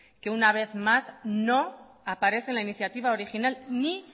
que una vez más no aparece en la iniciativa original ni